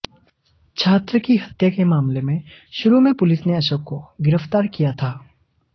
छात्र की हत्या के मामले में शुरू में पुलिस ने अशोक को गिरफ्तार किया था